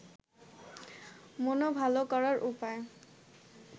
মন ভাল করার উপায়